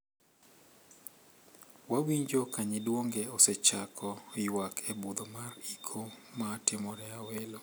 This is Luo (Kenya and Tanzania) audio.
Wawinjo ka nyidwonge osechako ywak e budho mar iko ma timore Awelo.